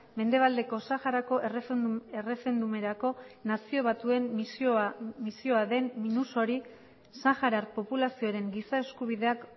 mendebaldeko saharako erreferendumerako nazio batuen misioa den minursori saharar populazioaren giza eskubideak